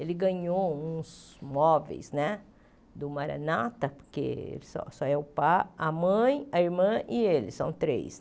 Ele ganhou uns móveis né do Maranata, porque só só é o pa, a mãe, a irmã e ele, são três.